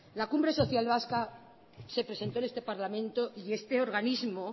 la cumbre social vasca se presentó en este parlamento y este organismo